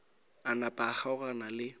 a napa a kgaogana le